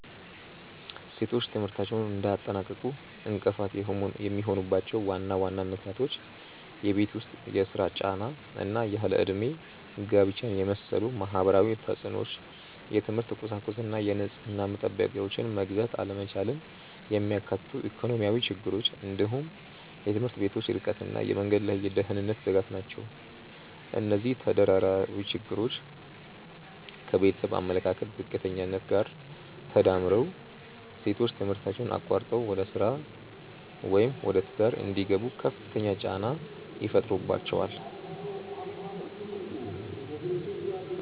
ሴቶች ትምህርታቸውን እንዳያጠናቅቁ እንቅፋት የሚሆኑባቸው ዋና ዋና ምክንያቶች የቤት ውስጥ ሥራ ጫና እና ያለ ዕድሜ ጋብቻን የመሰሉ ማህበራዊ ተፅዕኖዎች፣ የትምህርት ቁሳቁስና የንጽህና መጠበቂያዎችን መግዛት አለመቻልን የሚያካትቱ ኢኮኖሚያዊ ችግሮች፣ እንዲሁም የትምህርት ቤቶች ርቀትና የመንገድ ላይ የደህንነት ስጋት ናቸው። እነዚህ ተደራራቢ ችግሮች ከቤተሰብ አመለካከት ዝቅተኛነት ጋር ተዳምረው ሴቶች ትምህርታቸውን አቋርጠው ወደ ሥራ ወይም ወደ ትዳር እንዲገቡ ከፍተኛ ጫና ይፈጥሩባቸዋል።